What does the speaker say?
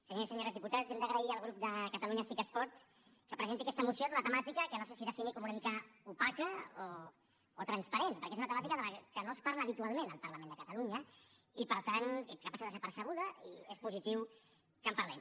senyors i senyores diputats hem d’agrair al grup de catalunya sí que es pot que presenti aquesta moció d’una temàtica que no sé si definir com una mica opaca o transparent perquè és una temàtica de què no es parla habitualment al parlament de catalunya i per tant que passa desapercebuda i és positiu que en parlem